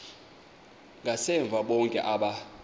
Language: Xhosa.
ngasemva bonke aba